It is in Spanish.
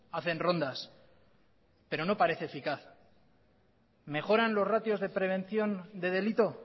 hacen rondas pero no parece eficaz mejoran los ratios de prevención de delito